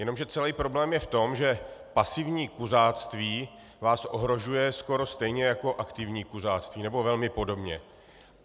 Jenomže celý problém je v tom, že pasivní kuřáctví vás ohrožuje skoro stejně jako aktivní kuřáctví, nebo velmi podobně.